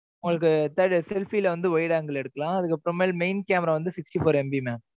உங்களுக்கு third selfie ல வந்து wide angle எடுக்கலாம். அதுக்கப்புறமேல் main camera வந்து sixty four MB mam.